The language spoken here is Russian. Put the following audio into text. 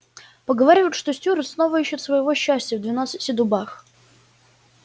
поговаривают что стюарт снова ищет своего счастья в двенадцати дубах